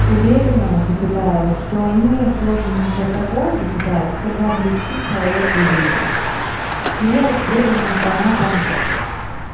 уверена запятая что они созданы для того запятая чтобы облегчить человеку жизнь являюсь преданным фанатом